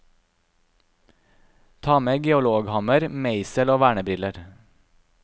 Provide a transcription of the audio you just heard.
Ta med geologhammer, meisel og vernebriller.